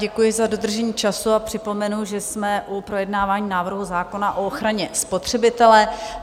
Děkuji za dodržení času a připomenu, že jsme u projednávání návrhu zákona o ochraně spotřebitele.